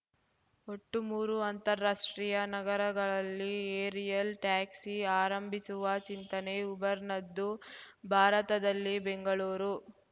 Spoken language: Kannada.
ಒಟ್ಟು ಮೂರು ಅಂತಾರಾಷ್ಟ್ರೀಯ ನಗರಗಳಲ್ಲಿ ಏರಿಯಲ್‌ ಟ್ಯಾಕ್ಸಿ ಆರಂಭಿಸುವ ಚಿಂತನೆ ಉಬರ್‌ನದ್ದು ಭಾರತದಲ್ಲಿ ಬೆಂಗಳೂರು